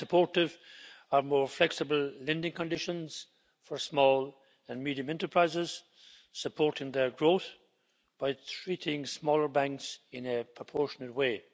I am supportive of more flexible lending conditions for small and medium enterprises, supporting their growth by treating smaller banks in a proportionate way.